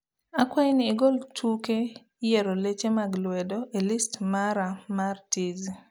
akwai ni igol tuke rieyo leche mag lwedo e list mara mar tizi